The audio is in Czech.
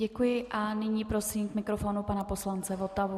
Děkuji a nyní prosím k mikrofonu pana poslance Votavu.